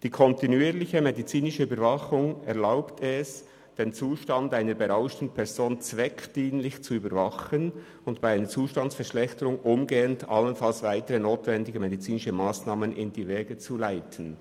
«Die kontinuierliche medizinische Überwachung erlaubt es, den Zustand einer berauschten Person zweckdienlich zu überwachen und bei einer Zustandsverschlechterung umgehend allenfalls weitere notwendige medizinische Massnahmen in die Wege zu leiten.